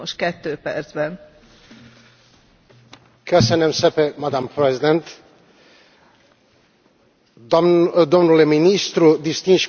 Domnule ministru, distinși colegi, criza actuală reconfirmă dimensiunea strategică a relațiilor dintre Uniunea Europeană și Turcia.